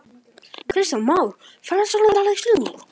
Kristján Már: Við sjáum bara ferðamennina streyma hingað?